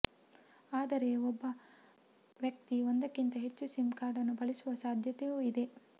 ಆದರೆ ಒಬ್ಬ ವ್ಯಕ್ತಿ ಒಂದಕ್ಕಿಂತ ಹೆಚ್ಚು ಸಿಮ್ ಕಾರ್ಡ್ ಬಳಸುವ ಸಾಧ್ಯತೆಯೂ ಇದೆ